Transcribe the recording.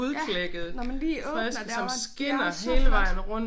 Ja når man lige åbner der hvor den det er så flot